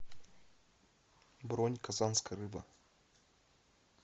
бронь казанская рыба